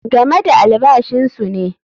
Game da albashinsu ne.